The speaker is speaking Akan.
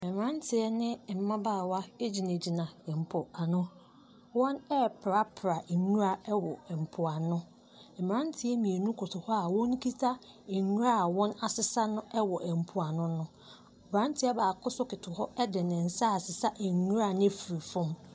Mmeranteɛ ne mmabaawa gyina po ano, wɔreprapra nwura wɔ mpoano, mmerante mmienu koto hɔ a wɔkita nwura a wɔasesa wɔ mpoano no. aberanteɛ baako nso koto hɔ de nsa ɛresesa nwura no afiri fam.